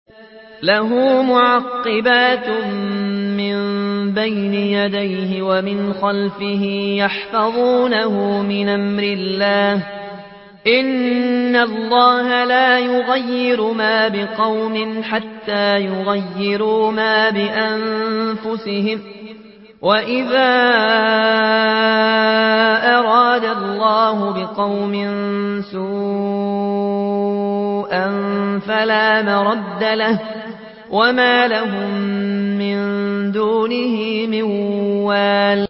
لَهُ مُعَقِّبَاتٌ مِّن بَيْنِ يَدَيْهِ وَمِنْ خَلْفِهِ يَحْفَظُونَهُ مِنْ أَمْرِ اللَّهِ ۗ إِنَّ اللَّهَ لَا يُغَيِّرُ مَا بِقَوْمٍ حَتَّىٰ يُغَيِّرُوا مَا بِأَنفُسِهِمْ ۗ وَإِذَا أَرَادَ اللَّهُ بِقَوْمٍ سُوءًا فَلَا مَرَدَّ لَهُ ۚ وَمَا لَهُم مِّن دُونِهِ مِن وَالٍ